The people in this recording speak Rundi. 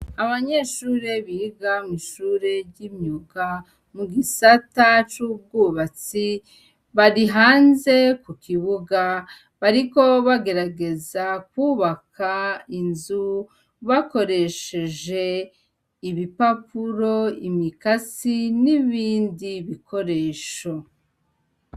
Abanyeshure biga mw'ishure ry'imyuga mu gisata c'ubwubatsi bari hanze ku kibuga bariko bagerageza kubaka inzu bakoresheje ibipapuro, imikasi, n'ibindi bikoresho.